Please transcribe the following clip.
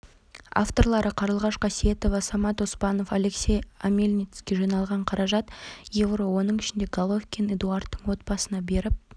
авторлары қарлығаш қасиетова самат оспанов алексей омельницкий жиналған қаражат евро оның ішінде головкин эдуардтың отбасына беріп